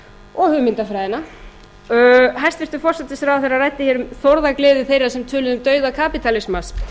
og hugmyndafræðina hæstvirtur forsætisráðherra ræddi hér um þórðargleði þeirra sem töluðu um dauða kapítalismans